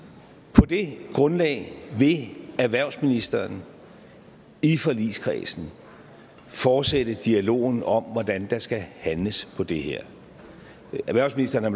på det grundlag vil erhvervsministeren i forligskredsen fortsætte dialogen om hvordan der skal handles på det her erhvervsministeren har